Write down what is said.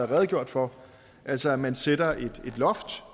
redegjort for altså at man sætter et loft